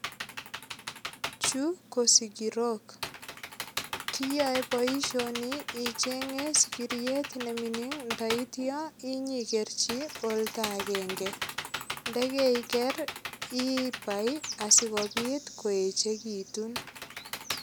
Chu ko sigirok, kiyoe boisioni ichenge sigiriet ne mining taityo inyigerchi oldo agenge. Ndekaiker ibai asigopit koechegitun.